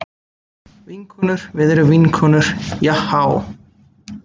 Vinkonur við erum vinkonur jahá.